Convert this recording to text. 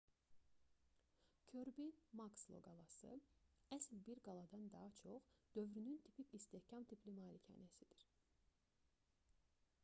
körbi-makslo qalası əsl bir qaladan daha çox dövrünün tipik istehkam tipli malikanəsidir